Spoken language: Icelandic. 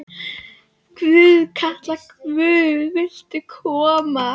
Stórstjarna verður að þekkja smekk jafningja sinna.